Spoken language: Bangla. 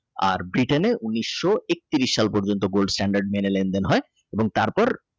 আর Britain ঊনিশো একত্রিশ সাল পর্যন্ত Gold stand মেনে লেনদেন হয় এবং তার পর।